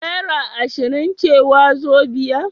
Naira ashirin ce wazobia?